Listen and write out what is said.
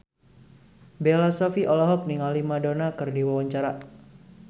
Bella Shofie olohok ningali Madonna keur diwawancara